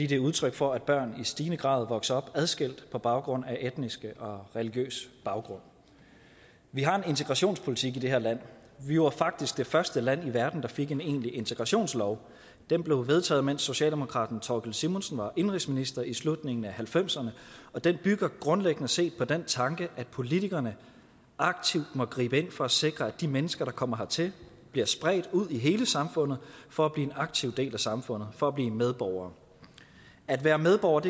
det er udtryk for at børn i stigende grad vokser op adskilt på baggrund af etnicitet og religiøsitet vi har en integrationspolitik i det her land vi var faktisk det første land i verden der fik en egentlig integrationslov den blev vedtaget mens socialdemokraten thorkild simonsen var indenrigsminister i slutningen af nitten halvfemserne og den bygger grundlæggende set på den tanke at politikerne aktivt må gribe ind for at sikre at de mennesker der kommer hertil bliver spredt ud i hele samfundet for at blive en aktiv del af samfundet for at blive medborgere at være medborger